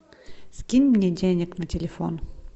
скинь мне денег на телефон